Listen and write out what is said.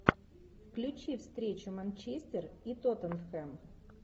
включи встречу манчестер и тоттенхэм